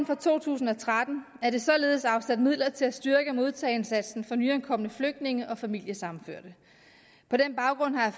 for to tusind og tretten er der således afsat midler til at styrke modtageindsatsen for nyankomne flygtninge og familiesammenførte på den baggrund har